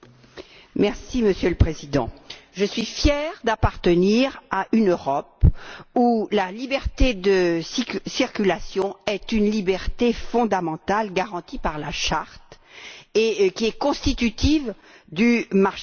Monsieur le Président, je suis fière d'appartenir à une Europe où la liberté de circulation est une liberté fondamentale garantie par la Charte et constitutive du marché unique.